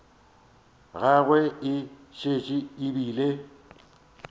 gagwe e šetše e bile